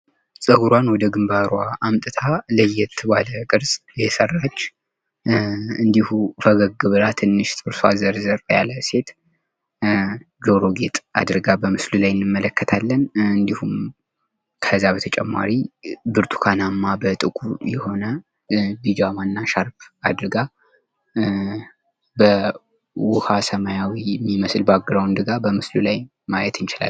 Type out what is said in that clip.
ጸጉሯን ወደ ግንባሯ አምጥታ ለየት ባለ ቅርጽ የሰራች እንድሁ ፈገግ ብላ ትንሽ ጥርሷ ዘርዘር ያለ ሴት ጆሮ ጌጥ አድርጋ በምስሉ ላይ እንመለከታለን። እንድሁም ከዛ በተጨማሪ ብርቱካናማ በጥቁር የሆነ ቢጃማና ሻርፕ አድርጋ በዉሃ ሰማያዊ በሚመስል ባክግራውንድ በምስሉ ላይ ማየት እንችላለን።